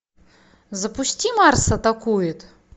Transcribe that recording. запусти марс атакует